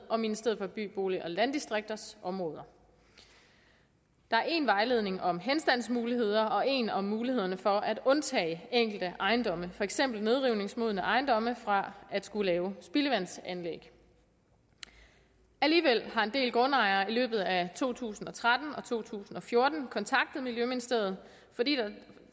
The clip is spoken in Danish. og ministeriet for by bolig og landdistrikters områder der er en vejledning om henstandsmuligheder og en om mulighederne for at undtage enkelte ejendomme for eksempel nedrivningsmodne ejendomme fra at skulle lave spildevandsanlæg alligevel har en del grundejere i løbet af to tusind og tretten og to tusind og fjorten kontaktet miljøministeriet fordi